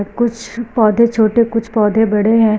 कुछ पौधे छोटे कुछ पौधे बड़े है।